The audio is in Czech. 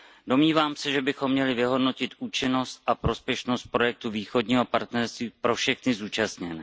Domnívám se, že bychom měli vyhodnotit účinnost a prospěšnost projektu Východního partnerství pro všechny zúčastněné.